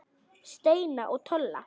Steina og Tolla?